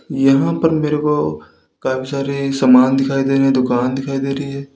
यहां पर मेरे को काफी सारे सामान दिखाई दे रहे दुकान दिखाई दे रही।